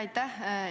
Aitäh!